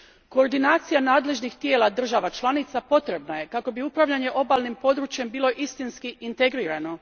Koordinacija nadležnih tijela država članica potrebna je kako bi upravljanje obalnim područjem bilo istinski integrirano.